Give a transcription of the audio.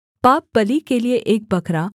पापबलि के लिये एक बकरा